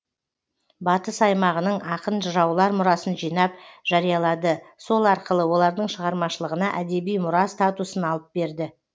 батыс аймағының ақын жыраулар мұрасын жинап жариялады сол арқылы олардың шығармашылығына әдеби мұра статусын алып берді